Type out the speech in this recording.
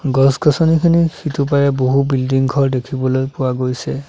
গছ গছনিখিনিৰ সিটোপাৰে বহু বিল্ডিং ঘৰ দেখিবলৈ পোৱা গৈছে।